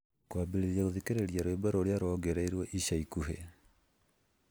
kwambĩrĩria gũthikĩrĩria rwĩmbo rũrĩa rũongereirũo ica ikuhĩ